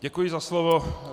Děkuji za slovo.